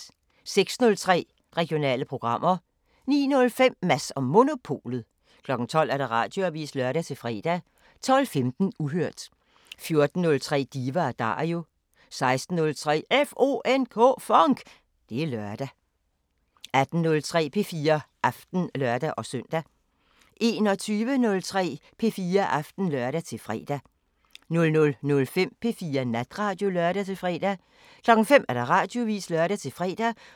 06:03: Regionale programmer 09:05: Mads & Monopolet 12:00: Radioavisen (lør-fre) 12:15: Uhørt 14:03: Diva & Dario 16:03: FONK! Det er lørdag 18:03: P4 Aften (lør-søn) 21:03: P4 Aften (lør-fre) 00:05: P4 Natradio (lør-fre) 05:00: Radioavisen (lør-fre)